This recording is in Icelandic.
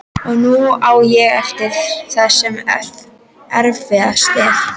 Og nú á ég eftir það sem erfiðast er.